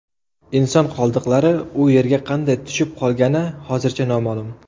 Inson qoldiqlari u yerga qanday tushib qolgani hozircha noma’lum.